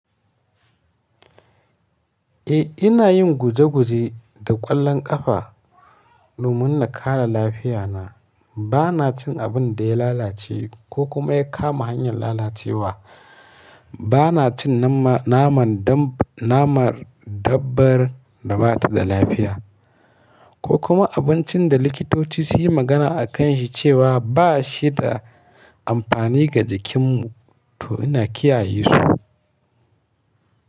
Eh ina yin guje guje da ƙwallon ƙafa domin na kare lafiyana. Bana cin abin da ya lalace ko kuma ya kama hanyan lalacewa. Bana cin nama, naman dabb, naman dabbar da ba ta da lafiya ko kuma abincin da likitoci su yi magana a kan shi cewa ba shi da amfani ga jikinmu to ina kiyaye su.